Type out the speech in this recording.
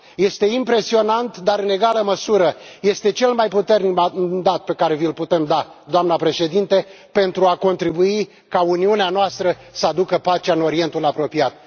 Este impresionant, dar, în egală măsură, este cel mai puternic mandat pe care vi l putem da, doamnă președinte, pentru a contribui ca Uniunea noastră să aducă pacea în Orientul Apropiat.